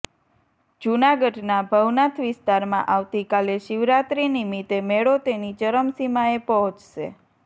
જૂનાગઢના ભવનાથ વિસ્તારમાં આવતીકાલે શિવરાત્રી નિમીતે મેળો તેની ચરમસીમાએ પહોંચશે